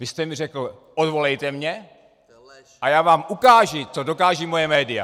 Vy jste mi řekl: Odvolejte mě a já vám ukážu, co dokážou moje média.